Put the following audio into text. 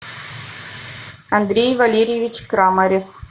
андрей валерьевич крамарев